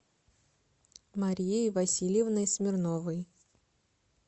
марией васильевной смирновой